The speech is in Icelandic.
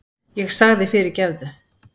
Ég sagði fyrirgefðu!